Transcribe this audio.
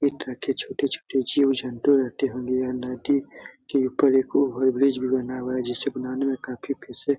इस तरह के छोटे-छोटे जीव-जन्तु रहते होंगे यह नदी के ऊपर एक ओवर ब्रिज भी बना हुआ है जिसे बनाने में काफी पैसे --